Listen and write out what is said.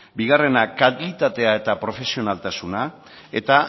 bigarrena kalitatea eta profesionaltasuna eta